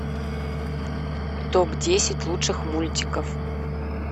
топ десять лучших мультиков